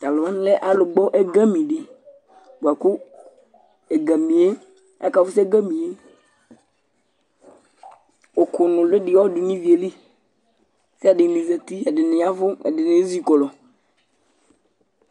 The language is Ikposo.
to alo wani lɛ alo gbɔ ɛgami di boa kò ɛgami yɛ aka fusu ɛgami yɛ òkò noli di ya du n'ivi yɛ li k'ɛdini zati ɛdini ya vu ɛdini ezi kɔlu